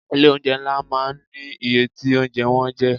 Ilé oúnjẹ ńlá máa ń ní iye tí oúnjẹ wọn jẹ́.